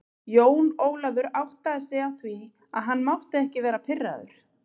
Jón Ólafur áttaði sig á því að hann mátti ekki vera pirraður.